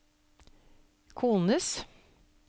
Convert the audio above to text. kones